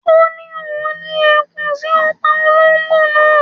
Ó ni oun ri ẹkùn ti o pa ológbò naa